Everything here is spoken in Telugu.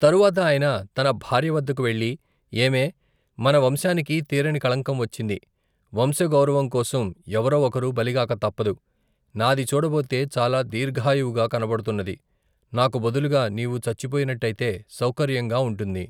తరువాత ఆయన తన భార్యవద్దకు వెళ్ళి, ఏమే, మన వంశానికి తీరని కళంకం వచ్చింది. వంశగౌరవంకోసం ఎవరో ఒకరు బలిగాక తప్పదు. నాది చూడబోతే చాలా దీర్ఘాయువుగా కనబడుతున్నది. నాకు బదులుగా నీవు చచ్చిపోయినట్టయితే సౌకర్యంగా ఉంటుంది.